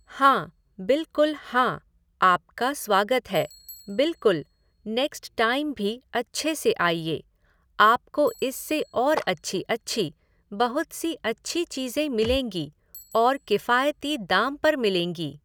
हाँ, बिल्कुल हाँ, आपका स्वागत है, बिल्कुल, नेक्स्ट टाइम भी अच्छे से आइए, आप को इससे और अच्छी अच्छी, बहुत सी अच्छी चीज़ें मिलेंगी और किफ़ायती दाम पर मिलेंगी